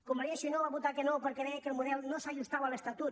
convergència i unió hi va votar que no perquè deia que el model no s’ajustava a l’estatut